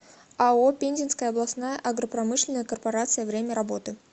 ао пензенская областная агропромышленная корпорация время работы